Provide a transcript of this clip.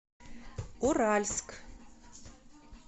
уральск